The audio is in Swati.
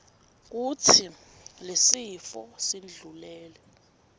kutsi lesifo sindlulele